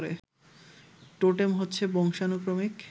totem হচ্ছে বংশানুক্রমিক